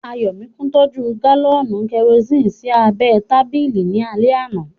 Ayọ̀míkún tọ́jú gálọ̀nì kẹrosini sí abẹ́ ẹ tábìlì ní alẹ́ àná